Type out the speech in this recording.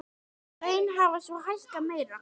Laun hafa svo hækkað meira.